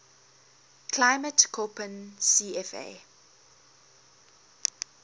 climate koppen cfa